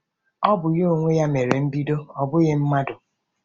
O bu ya n’onwe ya mere mbido, ọ bụghị mmadụ.